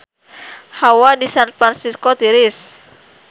Hawa di San Fransisco tiris